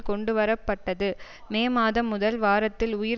கொண்டுவர பட்டது மே மாதம் முதல் வாரத்தில் உயிர்